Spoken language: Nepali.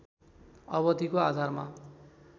अवधिको आधारमा